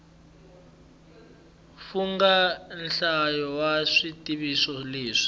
fungha nhlayo ya swivutiso leswi